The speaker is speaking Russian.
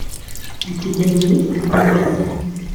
у тебя есть лофт